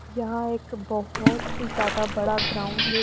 यहां एक बहुत ज्यादा बड़ा ग्राउंड है।